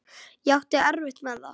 Ég átti erfitt með það.